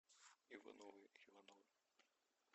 ивановы ивановы